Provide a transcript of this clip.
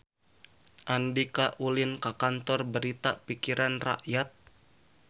Andika ulin ka Kantor Berita Pikiran Rakyat